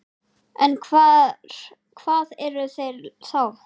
En hvað eru þeir þá?